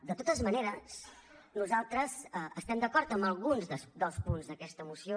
de totes maneres nosaltres estem d’acord amb alguns dels punts d’aquesta moció